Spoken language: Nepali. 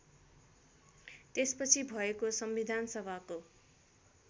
त्यसपछि भएको संविधानसभाको